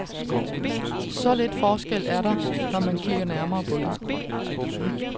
Så lidt forskel er der, når man kigger nærmere på det.